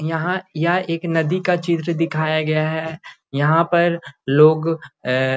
यहां यह एक नदी का चित्र दिखाया गया है यहां पर लोग ए --